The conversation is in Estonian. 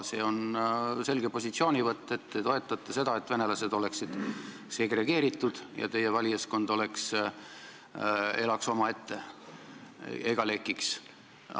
See on selge positsioonivõtt: te toetate seda, et venelased oleksid segregeeritud ja teie valijaskond elaks omaette ega lekiks.